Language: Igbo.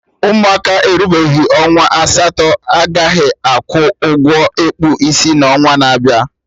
Ụmụaka erubeghị ọnwa asatọ agaghị akwụ ụgwọ ịkpụ isi n'onwa na-abịa